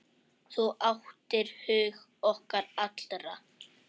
Þú áttir hug okkar allra.